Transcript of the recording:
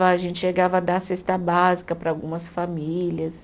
A gente chegava a dar cesta básica para algumas famílias.